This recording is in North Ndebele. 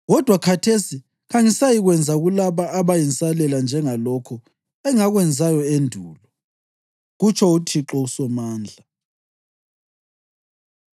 Kodwa khathesi kangisayikwenza kulaba abayinsalela njengalokho engakwenzayo endulo,” kutsho uThixo uSomandla.